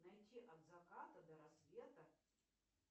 найти от заката до рассвета